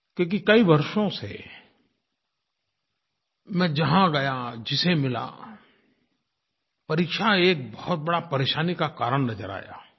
क्योंकि कई वर्षों से मैं जहाँ गया जिसे मिला परीक्षा एक बहुत बड़ा परेशानी का कारण नज़र आया